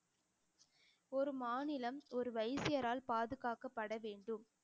ஒரு மாநிலம் ஒரு வைசியரால் பாதுகாக்கப்பட வேண்டும்